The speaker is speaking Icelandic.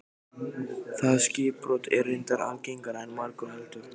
Það skipbrot er reyndar algengara en margur heldur.